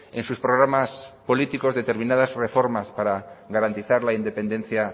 en sus programas políticos determinadas reformas para garantizar la independencia